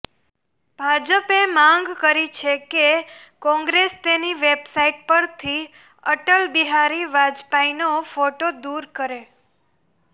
ભાજપે માંગ કરી છે કે કોંગ્રેસ તેની વેબસાઇટ પરથી અટલ બિહારી વાજપેયીનો ફોટો દૂર કરે